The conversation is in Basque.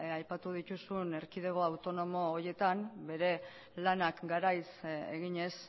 aipatu dituzun erkidego autonomo horietan bere lanak garaiz eginez